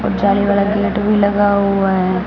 और जाली वाला गेट भी लगा हुआ है।